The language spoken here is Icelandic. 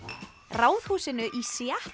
Ráðhúsinu í